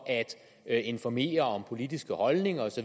at informere om politiske holdninger